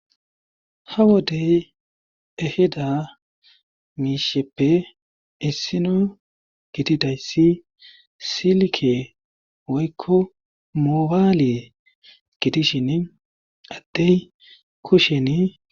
Ha wodey ehida misheppe issino gididaysa silke woyko mobile gidishn Adey kusheni